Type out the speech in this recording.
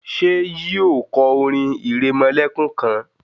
ṣe yíò kọ orin iremolekun kán?